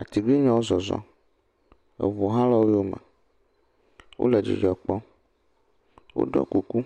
Atiglinyiawo zɔzɔm. Eŋu hã le wo yome. Wole dzidzɔ kpɔm. Woɖiɔ kuku.